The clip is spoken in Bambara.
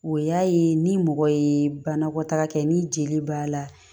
O y'a ye ni mɔgɔ ye banakɔtaga kɛ ni jeli b'a la